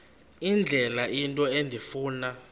indlela into endifuna